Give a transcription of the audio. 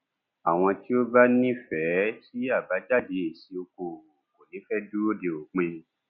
àwọn tí ó bá nífẹẹ sí àbájáde èsì okòòwò kò ní fẹ dúró de òpin